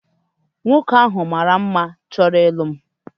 Nwoke ahu mara mma chọrọ ịlụ m